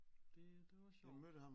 Det det var sjovt